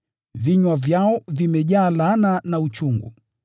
“Vinywa vyao vimejaa laana na uchungu.”